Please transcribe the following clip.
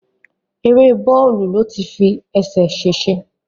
Èrè bọ́ọ̀lù ló ti fi ẹsẹ̀ sèsẹ